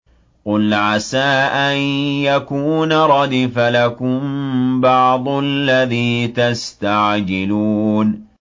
قُلْ عَسَىٰ أَن يَكُونَ رَدِفَ لَكُم بَعْضُ الَّذِي تَسْتَعْجِلُونَ